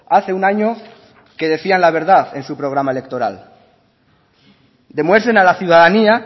hace un año que decían la verdad en su programa electoral demuestren a la ciudadanía